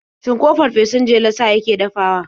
Shin ko fafesun jelar sa yake dafawa?